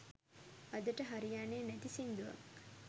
අදට හරියන්නෙ නැති සිංදුවක්